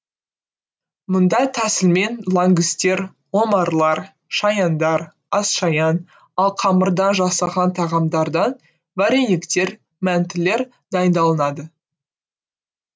мұндай тәсілмен лангустер омарлар шаяндар асшаян ал қамырдан жасалған тағамдардан варениктер мәнтілер дайындалынады